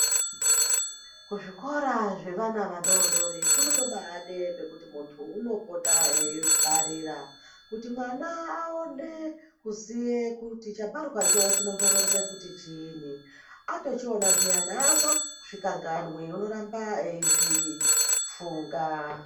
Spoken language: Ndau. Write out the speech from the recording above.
Ku zvikora zve vana vadodori kunoto baide pekuti muntu uno pota eyi vharira kuti mwana awone kuziye kuti chakarwa cho chinombo ronze kuti chinyi oto chiona zviyani ato zvikanganwi uno ramba eyizvi funga.